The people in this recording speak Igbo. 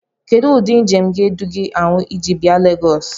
Ele ụdị njem ga-edo gị ahụ iji bịa Legosi?